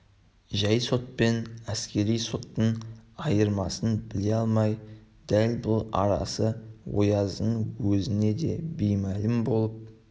жай сот пен әскери соттың айырмасын біле алмай дал бұл арасы ояздың өзіне де беймәлім болып